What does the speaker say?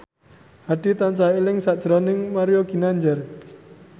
Hadi tansah eling sakjroning Mario Ginanjar